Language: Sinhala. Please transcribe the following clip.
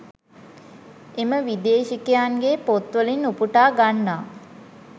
එම විදේශිකයන්ගේ පොත්වලින් උපුටා ගන්නා